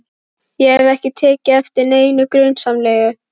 Ég hef ekki tekið eftir neinu grunsamlegu.